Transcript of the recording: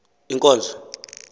inkonzo